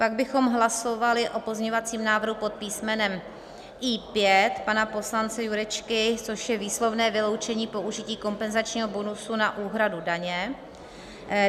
Pak bychom hlasovali o pozměňovacím návrhu pod písmenem I5 pana poslance Jurečky, což je výslovné vyloučení použití kompenzačního bonusu na úhradu daně.